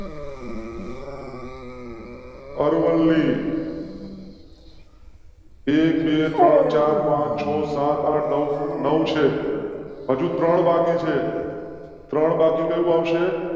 અરવલ્લી. એક બે ત્રણ ચાર પાંચ છ સાત આઠ નૌ નૌ છે. હજુ ત્રણ બાકી છે. ત્રણ બાકી કયું આવશે?